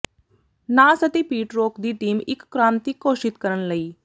ਨਾਸ ਅਤੇ Pete Rock ਦੀ ਟੀਮ ਇੱਕ ਕ੍ਰਾਂਤੀ ਘੋਸ਼ਿਤ ਕਰਨ ਲਈ